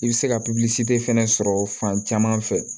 I bɛ se ka fɛnɛ sɔrɔ fan caman fɛ